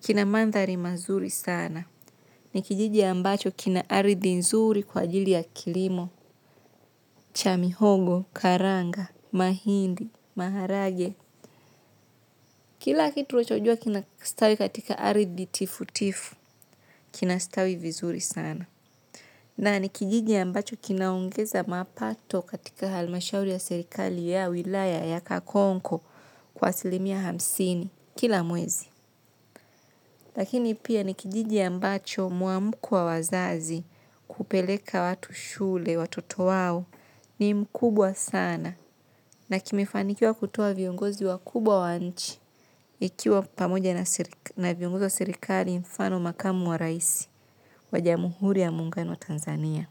kina mandhari mazuri sana. Ni kijiji ambacho kina aridhi nzuri kwa ajili ya kilimo, cha mihogo, karanga, mahindi, maharage. Kila kitu wachojua kina stawi katika aridhi tifu tifu, kinastawi vizuri sana. Na nikijiji ambacho kinaongeza mapato katika almashauri ya sirikali ya wilaya ya kakonko kwa asilimia hamsini kila mwezi. Lakini pia ni kijiji ambacho muamko wa wazazi kupeleka watu shule watoto wao ni mkubwa sana. Na kimefanikiwa kutoa viongozi wakubwa wa nchi ikiwa pamoja na viongozi wa sirikali mfano makamu wa raisi wa jamuhuri ya muungano wa Tanzania.